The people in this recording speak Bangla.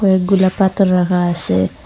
অনেকগুলা পাথর রাখা আসে।